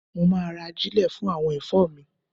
Mo ma ra ajílẹ̀ fún àwọn ẹ̀fọ́ mi.